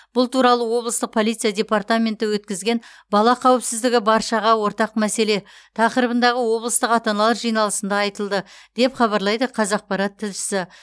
бұл туралы облыстық полиция департаменті өткізген бала қауіпсіздігі баршаға ортақ мәселе тақырыбындағы облыстық ата аналар жиналысында айтылды деп хабарлайды қазақпарат тілшісі